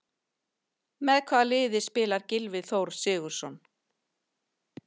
Með hvaða liði spilar Gylfi Þór Sigurðsson?